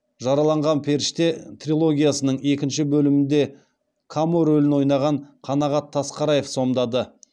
жараланған періште трилогиясының екінші бөлімінде камо рөлін ойнаған қанағат тасқараев сомдады